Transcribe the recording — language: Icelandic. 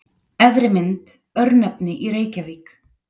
Efri mynd: Örnefni í Reykjavík.